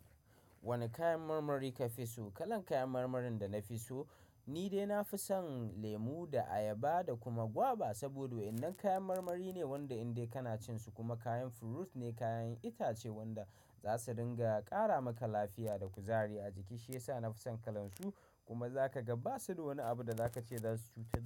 Wane kayan marmari ka fi so? Kalan kayan marmarin da na fi so, ni dai na fi son lemu da ayaba da kuma gwaba. Saboda wa'yannan kayan marmari ne wanda indai kana cin su kuma kayan fruit ne, kayan itace wanda za su dinga ƙara maka lafiya da kuzari a jiki shiyasa na fi son kalan su. Kuma za ka ga ba su da wani abu da za ka ce za su cutar.